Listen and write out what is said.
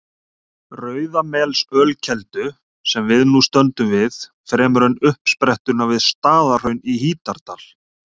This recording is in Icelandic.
Rauðamelsölkeldu, sem við nú stöndum við, fremur en uppsprettuna við Staðarhraun í Hítardal.